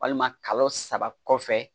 Walima kalo saba kɔfɛ